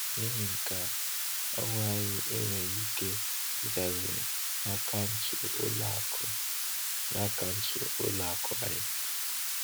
N’ìhè nke a, ọṅụ anyị enweghị ike ịdabere n’akaụntụ ụlọ akụ n’akaụntụ ụlọ akụ anyị.